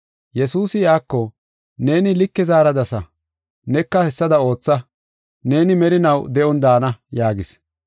Yesuusi iyako, “Neeni like zaaradasa, neka hessada ootha. Neeni merinaw de7on daana” yaagis.